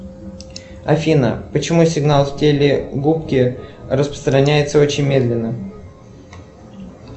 афина почему сигнал в телегубке распространяется очень медленно